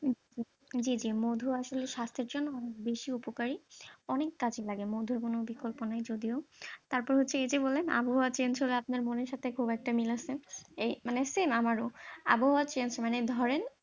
জী জী মধু আসলে স্বাস্থ্যের জন্য বেশি উপকারি, অনেক কাজে লাগে মধুর কোন বিকল্প নাই যদিও তারপর হচ্ছে এই যে বলেন আবহাওয়া change হলে আপনার মনের সাথে খুব একটা মিল আছে, এ মানে same আমারও আবহাওয়া change মানে ধরেন